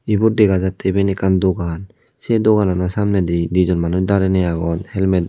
ibot dega jatte ekkan dogan se doganano samnedi dijon manuj darenei agon helmet.